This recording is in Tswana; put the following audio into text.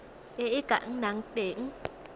e e ka nnang teng